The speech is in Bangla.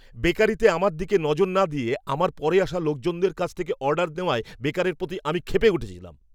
বেকারিতে আমার দিকে নজর না দিয়ে আমার পরে আসা লোকজনের কাছ থেকে অর্ডার নেওয়ায় বেকারের প্রতি আমি ক্ষেপে উঠেছিলাম।